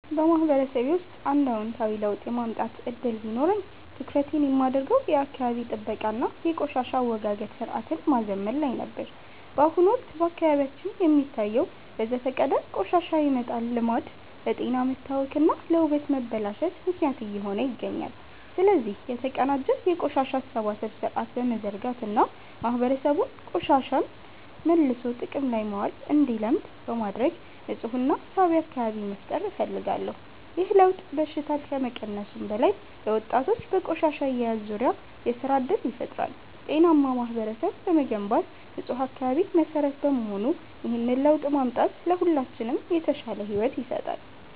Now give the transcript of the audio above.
በማህበረሰቤ ውስጥ አንድ አዎንታዊ ለውጥ የማምጣት ዕድል ቢኖረኝ፣ ትኩረቴን የማደርገው የአካባቢ ጥበቃ እና የቆሻሻ አወጋገድ ሥርዓትን ማዘመን ላይ ነበር። በአሁኑ ወቅት በአካባቢያችን የሚታየው በዘፈቀደ ቆሻሻ የመጣል ልማድ ለጤና መታወክ እና ለውበት መበላሸት ምክንያት እየሆነ ይገኛል። ስለዚህ፣ የተቀናጀ የቆሻሻ አሰባሰብ ሥርዓት በመዘርጋት እና ማህበረሰቡ ቆሻሻን መልሶ ጥቅም ላይ ማዋል እንዲለምድ በማድረግ ንፁህና ሳቢ አካባቢ መፍጠር እፈልጋለሁ። ይህ ለውጥ በሽታን ከመቀነሱም በላይ፣ ለወጣቶች በቆሻሻ አያያዝ ዙሪያ የሥራ ዕድል ይፈጥራል። ጤናማ ማህበረሰብ ለመገንባት ንፁህ አካባቢ መሠረት በመሆኑ፣ ይህንን ለውጥ ማምጣት ለሁላችንም የተሻለ ሕይወት ይሰጣል።